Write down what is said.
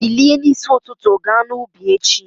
Bilie n'isi ụtụtụ ga n'ubi echi!